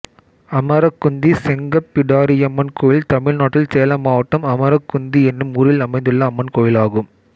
அமரக்குந்தி செங்கப்பிடாரியம்மன் கோயில் தமிழ்நாட்டில் சேலம் மாவட்டம் அமரக்குந்தி என்னும் ஊரில் அமைந்துள்ள அம்மன் கோயிலாகும்